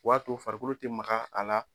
O w'a to farikolo te maga a la